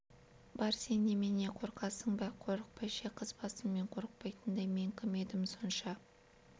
бар сен немене қорқасың ба қорықпай ше қыз басыммен қорықпайтындай мен кім едім сонша